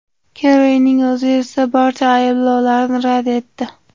Kerrining o‘zi esa barcha ayblovlarni rad etdi.